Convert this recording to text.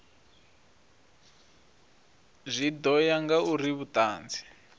zwi ḓo ya ngauri vhuṱanzi